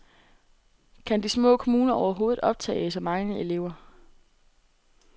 Kan de små kommuner overhovedet optage så mange elever?